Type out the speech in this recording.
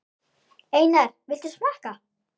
Einar, viltu smakka?